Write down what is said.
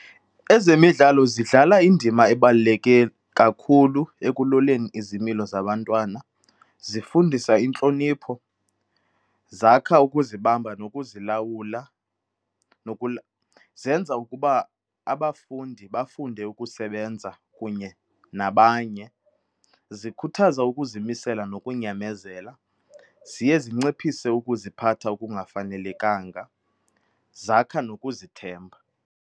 Ezemidlalo zidlala indima ebaluleke kakhulu ekuloleni izimilo zabantwana, zifundisa intlonipho, zakha ukuzibamba nokuzilawula , zenza ukuba abafundi bafunde ukusebenza kunye nabanye, zikhuthaza ukuzimisela nokunyamezela, ziye zinciphise ukuziphatha okungafanelekanga, zakha nokuzithemba.